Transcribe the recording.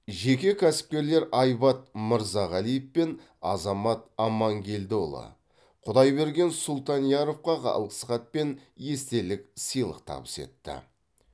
жеке кәсіпкерлер айбат мырзағалиев пен азамат амангелдіұлы құдайберген сұлтанияровқа алғысхат пен естелік сыйлық табыс етті